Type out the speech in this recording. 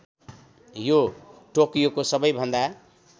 यो टोकियोको सबैभन्दा